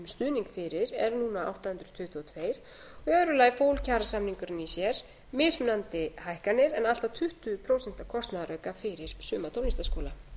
stuðning fyrir er núna átta hundruð tuttugu og tvö og í öðru lagi fól kjarasamningurinn í sér mismunandi hækkanir en allt að tuttugu prósent kostnaðarauka fyrir suma tónlistarskóla